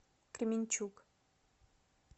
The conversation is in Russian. кременчуг